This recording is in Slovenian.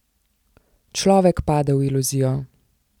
Človek pade v iluzijo.